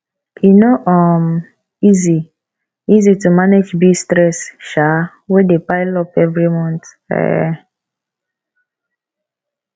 e no um easy easy to manage bill stress um wey dey pile up every month um